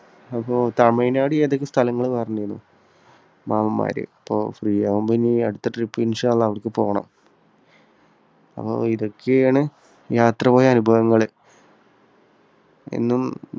അപ്പോ തമിഴ്നാട് ഏതൊക്കെയോ സ്ഥലങ്ങൾ പറഞ്ഞിരുന്നു. മാമ്മൻമാര്. അപ്പോൾ free ആകുമ്പോൾ ഇനി അടുത്ത trip അവിടേയ്ക്ക് പോകണം. അപ്പോ ഇതൊക്കെയാണ് യാത്ര പോയ അനുഭവങ്ങൾ. എന്നും